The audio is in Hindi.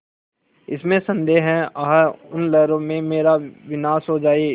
इसमें संदेह है आह उन लहरों में मेरा विनाश हो जाए